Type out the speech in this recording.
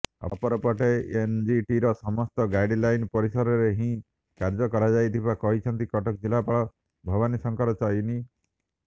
ଅପରପଟେ ଏନଜିଟିର ସମସ୍ତ ଗାଇଡ଼ଲାଇନ ପରିସରରେ ହିଁ କାର୍ଯ୍ୟ କରାଯାଇଥିବା କହିଛନ୍ତି କଟକ ଜିଲ୍ଲାପାଳ ଭାବନୀଶଙ୍କର ଚଇନୀ